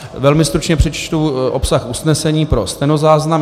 Velmi stručně přečtu obsah usnesení pro stenozáznam.